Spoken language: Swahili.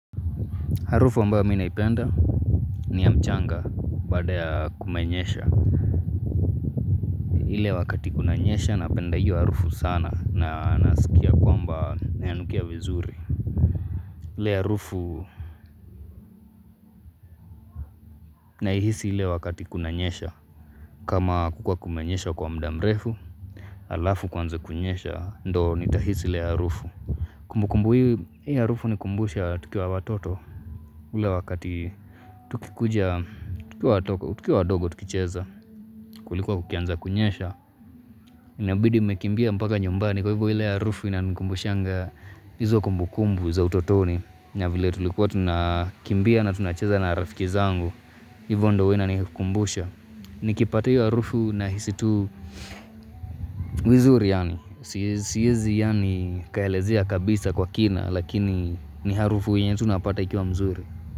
Harufu ambao mimi naipenda ni ya mchanga baada ya kumenyesha. Ile wakati kunanyesha napenda iyo harufu sana na nasikia kwamba na inanukia vizuri. Ile harufu naihisi ile wakati kunanyesha. Kama hakukuwa kumenyesha kwa muda mrefu, alafu kuanze kunyesha ndo nitahisi ile harufu. Kumbu kumbu ya hii harufu hunikumbusha tukiwa watoto. Ule wakati tukikuja, tukikuwa wadogo tukicheza, kulikuwa kukianza kunyesha Inabidi mmekimbia mpaka nyumbani kwa hivyo ile harufu inanikumbushanga hizo kumbukumbu za utotoni na vile tulikuwa tunakimbia na tunacheza na rafiki zangu Hivo ndo huwa inanikumbusha Nikipatiwa harufu nahisi tu vizuri yaani siezi yaani nikaelezea kabisa kwa kina lakini ni harufu yenye tu napata ikiwa mzuri.